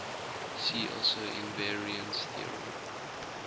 see also invariance theorem